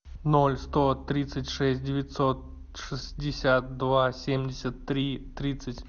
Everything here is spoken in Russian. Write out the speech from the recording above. ноль сто тридцать шесть девятьсот шестьдесят два семьдесят три тридцать